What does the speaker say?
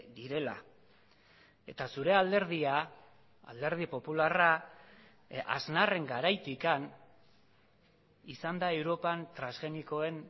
direla eta zure alderdia alderdi popularra aznarren garaitik izan da europan transgenikoen